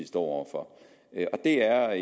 står over for det er